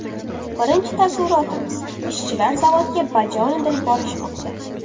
Birinchi taassurotimiz – ishchilar zavodga bajonidil borishmoqda.